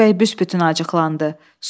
Münir bəy büsbütün acıqlandı.